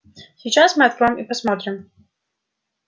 сейчас мы откроем и посмотрим